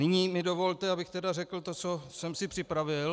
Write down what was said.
Nyní mi dovolte, abych teda řekl to, co jsem si připravil.